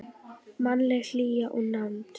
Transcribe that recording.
Mannleg hlýja og nánd.